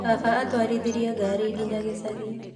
Baba atwarithirie ngari nginya gĩcagi